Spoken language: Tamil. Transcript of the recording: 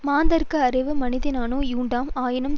மாந்தர்க்கு அறிவு மனத்தினானே யுண்டாம் ஆயினும்